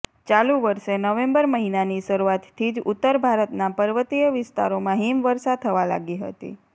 ચાલુ વર્ષે નવેમ્બર મહિનાની શરૂઆતથી જ ઉત્તર ભારતના પર્વતીય વિસ્તારોમાં હીમ વર્ષા થવા લાગી હતી